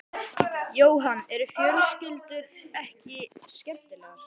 Jóhann: Eru fjölskyldur ekki skemmtilegar?